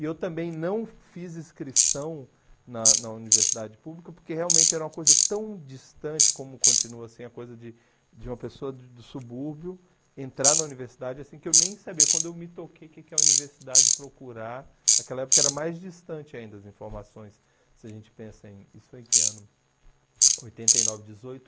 E eu também não fiz inscrição na na universidade pública, porque realmente era uma coisa tão distante como continua, assim, a coisa de de uma pessoa do subúrbio entrar na universidade, assim, que eu nem sabia, quando eu me toquei, o que que é a universidade procurar, naquela época era mais distante ainda as informações, se a gente pensa em, isso foi em que ano? Oitenta e nove, dezoito